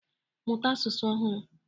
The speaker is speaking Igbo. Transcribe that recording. Mụta asụsụ ọhụrụ